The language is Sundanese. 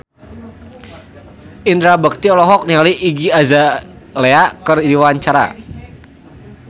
Indra Bekti olohok ningali Iggy Azalea keur diwawancara